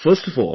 I am fine